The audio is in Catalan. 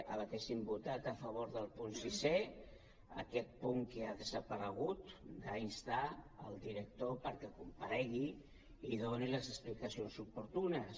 hauríem votat a favor del punt sisè aquest punt que ha desaparegut instar el director perquè comparegui i doni les explicacions oportunes